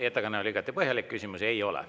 Teie ettekanne oli igati põhjalik, küsimusi teile ei ole.